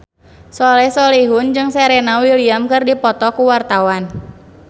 Soleh Solihun jeung Serena Williams keur dipoto ku wartawan